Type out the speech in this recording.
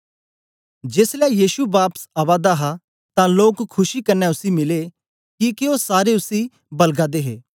जेसलै यीशु बापस आवा दा हा तां लोक खुशी कन्ने उसी मिले किके ओ सारे उसी बलगा दे हे